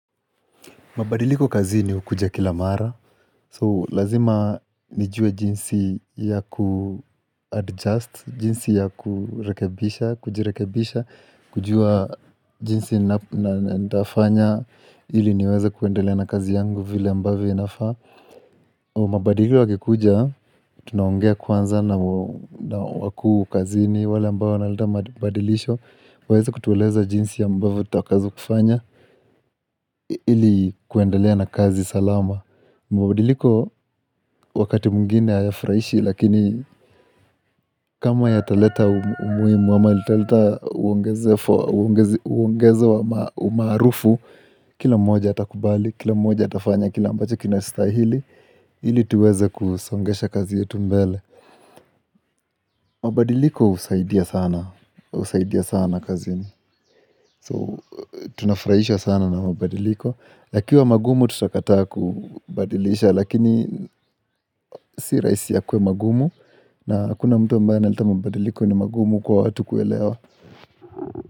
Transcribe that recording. Mabadiliko kazini hukuja kila mara, so lazima nijue jinsi ya kuadjust, jinsi ya kurekebisha, kujirekebisha, kujua jinsi na nitafanya ili niweze kuendelea na kazi yangu vile ambavyo inafaa. Mabadiliko yakikuja, tunaongea kwanza na wakuu kazini wale ambayo wanaleta mabadilisho waweze kutueleza jinsi ambavyo tutakazwa kufanya ili kuendelea na kazi salama mabadiliko wakati mwengine hayafurahishi Lakini kama yataleta umuhimu ama italeta lita uongeze umaarufu Kila mmoja atakubali, kila mmoja atafanya, kila ambacho kinastahili ili tuweze kusongesha kazi yetu mbele mabadiliko husaidia sana husaidia sana kazini So tunafurahishwa sana na mabadiliko yakiwa magumu tutakataa kubadilisha lakini si rahisi yakuwe magumu na hakuna mtu ambaye analeta mabadiliko ni magumu kwa watu kuelewa.